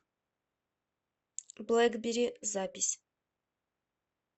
блэкбери запись